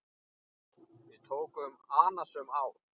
Við tóku annasöm ár.